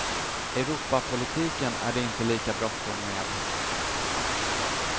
Europapolitiken är det inte lika bråttom med.